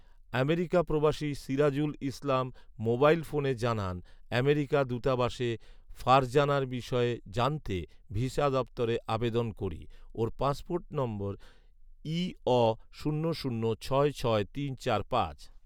America প্রবাসী Sirajul Islam mobile ফোনে জানান, আমেরিকা দূতাবাসে ফারজানার বিষয়ে জানতে ভিসা দপ্তরে আবেদন করি। ওঁর পাসপোর্ট নং ইঅ শূন্য শূন্য ছয় ছয় তিন চার পাঁচ